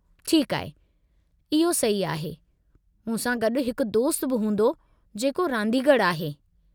ठीकु आहे, इहो सही आहे। मूं सां गॾु हिकु दोस्तु बि हूंदो जेको राॻींदड़ु आहे।